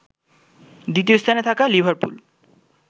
দ্বিতীয় স্থানে থাকা লিভারপুল